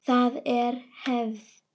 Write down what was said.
Það er hefð!